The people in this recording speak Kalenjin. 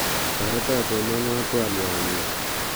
Toreto somawon twaliotnyu